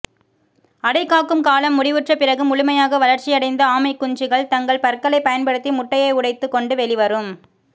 அடைக்காக்கும் காலம் முடிவுற்ற பிறகு முழுமையாக வளர்ச்சியடைந்த ஆமைக்குஞ்சுகள் தங்கள் பற்களை பயன்படுத்தி முட்டையை உடைத்துக்கொண்டு வெளிவரும்